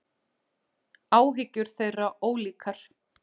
Áhyggjur þeirra ólíkar.